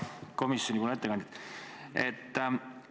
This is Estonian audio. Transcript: Hea komisjonipoolne ettekandja!